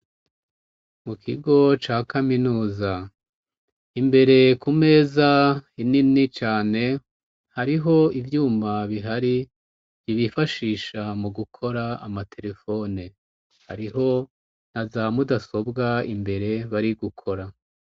Mu kigo ca kaminuza ,imbere ku meza nini cane, hariho ivyuma bihari ,bifashisha mu gukora amaterefone, hariho nazamudasobwa imbere bari gukora.